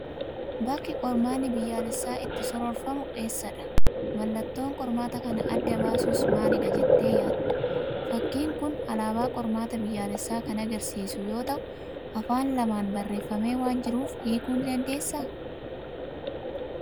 Bakki qormaanni biyyaalessaa itti soroorfamu eessadha? Mallattoon qormaata kana adda baasus maalidha jettee yaadda? Fakkiin kun alaabaa qormaata biyyaalessaa kan agarsiisu yoo ta'u, afaan lamaan barreeffamee waan jiruuf hiikuu ni dandeessaa?